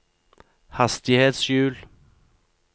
hastighetshjul